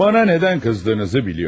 Mənə nədən qızdığınızı bilirəm.